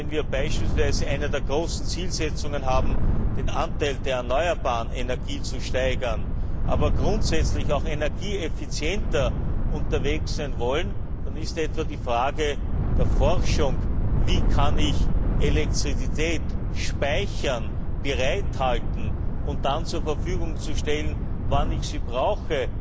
Wenn wir beispielsweise als eine der großen Zielsetzungen haben, den Anteil der erneuerbaren Energie zu steigern, aber grundsätzlich auch energieeffizienter sein wollen, dann ist etwa die Frage der Forschung Wie kann ich Elektrizität speichern, bereithalten und dann zur Verfügung stellen, wenn ich sie brauche?